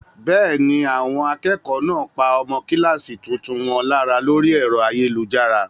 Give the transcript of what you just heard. Bẹ́ẹ̀ ni, àwọn akẹ́kọ̀ọ́ náà pa ọmọ kíláàsì tuntun wọn lára lórí ẹ̀rọ ayélujára.